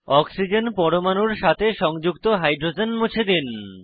oxygen পরমাণুর সাথে সংযুক্ত হাইড্রোজেন মুছে দিন